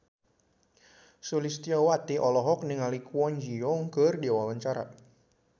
Sulistyowati olohok ningali Kwon Ji Yong keur diwawancara